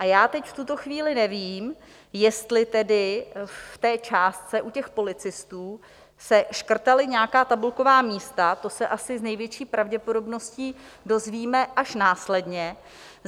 A já teď v tuto chvíli nevím, jestli tedy v té částce u těch policistů se škrtala nějaká tabulková místa, to se asi s největší pravděpodobností dozvíme až následně.